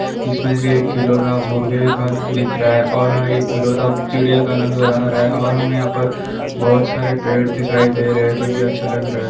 इसमे से एक खिलौना मुर्गे के पास दिख रहा है और हा एक खिलौना चिड़िया का नज़र आ रहा है और हमे यहाँ पर बहुत सारे पेड़ दिखाई दे रहा है जो कि अच्छा लग रहा है।